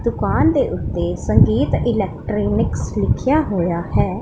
ਤੂਫਾਨ ਦੇ ਉੱਤੇ ਸੰਗੀਤ ਇਲੈਕਟਰੀਨਿਕਸ ਲਿਖਿਆ ਹੋਇਆ ਹੈ।